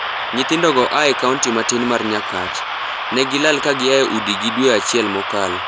Nyithindo go ae kaunti matin mar Nyakach. Negilal kagiae udi gi dwe achiel mokalo.